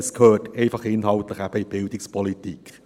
Er gehört inhaltlich in die Bildungspolitik.